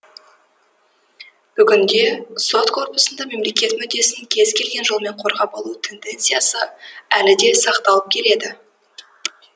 бүгінде сот корпусында мемлекет мүддесін кез келген жолмен қорғап қалу тенденциясы әлі де сақталып келеді